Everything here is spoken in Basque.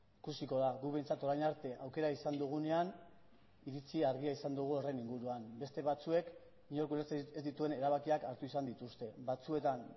ikusiko da guk behintzat orain arte aukera izan dugunean iritzi argia izan dugu horren inguruan beste batzuek nik ulertzen ez ditudan erabakiak hartu izan dituzte batzuetan